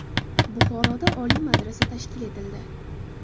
Buxoroda Oliy madrasa tashkil etildi.